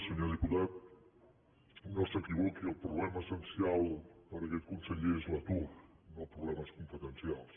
senyor diputat no s’equivo·qui el problema essencial per a aquest conseller és l’atur no problemes competencials